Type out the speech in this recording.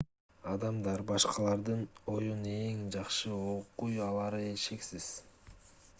адамдар башкалардын оюн эң жакшы окуй алары шексиз